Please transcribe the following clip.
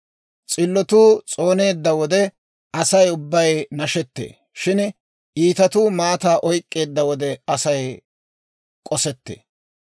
S'illotuu s'ooneedda wode, Asay ubbay nashettee; shin iitatuu maataa oyk'k'eedda wode, Asay k'osettee.